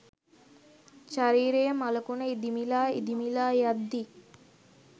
ශරීරය මළකුණ ඉදිමිලා ඉදිමිලා යද්දි